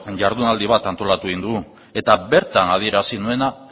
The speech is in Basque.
jardunaldi bat antolatu egin dugu eta bertan adierazi nuena